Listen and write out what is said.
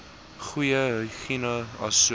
goeie higïene asook